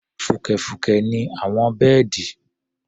Fùkẹ̀fùkẹ̀ ni àwọn bẹ́ẹ̀dì.